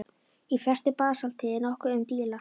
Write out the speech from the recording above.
Í flestu basalti er nokkuð um díla.